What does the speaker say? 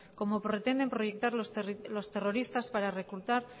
como pretenden proyectar los terroristas para reclutar